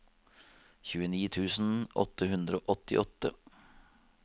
tjueni tusen åtte hundre og åttiåtte